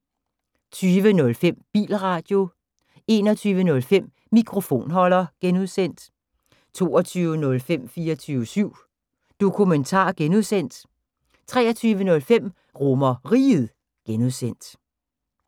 20:05: Bilradio 21:05: Mikrofonholder (G) 22:05: 24syv Dokumentar (G) 23:05: RomerRiget (G)